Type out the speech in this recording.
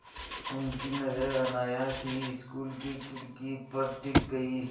उनकी नज़र अनायास ही स्कूल की खिड़की पर टिक गई